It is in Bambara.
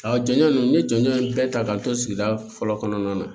A jɔnjɔn ninnu ni jɔn bɛɛ ta k'an to sigida fɔlɔ kɔnɔna na